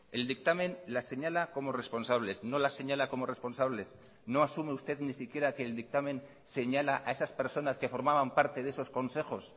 el dictamen las señala como responsables no las señala como responsables no asume usted ni siquiera que el dictamen señala a esas personas que formaban parte de esos consejos